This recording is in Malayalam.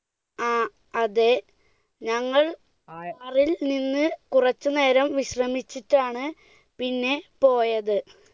ആ അതെ, ഞങ്ങൾ കാറിൽ നിന്ന് കുറച്ചുനേരം വിശ്രമിച്ചിട്ടാണ് പിന്നെ പോയത്.